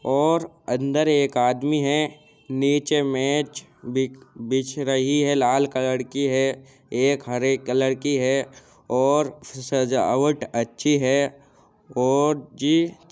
और अंदर एक आदमी है। नीचे मेज बिक बिछ रही है लाल कलर की है एक हरे कलर की है और सजावट अच्छी है और --